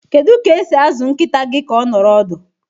Kedu ka esi azụ nkịta gị ka ọ nọrọ ọdụ?